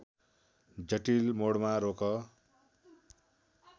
जटिल मोडमा रोक